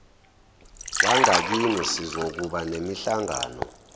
wangakini sizokuba nemihlangano